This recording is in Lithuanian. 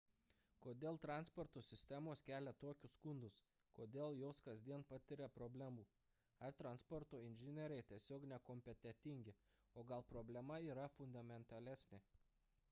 kodėl transporto sistemos kelia tokius skundus kodėl jos kasdien patiria problemų ar transporto inžinieriai tiesiog nekompetentingi o gal problema yra fundamentalesnė